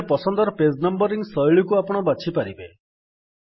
ନିଜ ପସନ୍ଦର page numbering ଶୈଳୀକୁ ଆପଣ ବାଛି ପାରିବେ